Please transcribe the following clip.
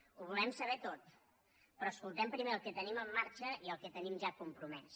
ho volem saber tot però escoltem primer el que tenim en marxa i el que tenim ja compromès